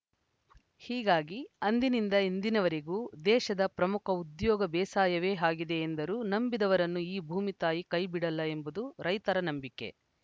ಹೀಗಾಗಿ ಅಂದಿನಿಂದ ಇಂದಿನವರೆಗೂ ದೇಶದ ಪ್ರಮುಖ ಉದ್ಯೋಗ ಬೇಸಾಯವೇ ಆಗಿದೆ ಎಂದರು ನಂಬಿದವರನ್ನು ಈ ಭೂಮಿ ತಾಯಿ ಕೈ ಬಿಡಲ್ಲ ಎಂಬುದು ರೈತರ ನಂಬಿಕೆ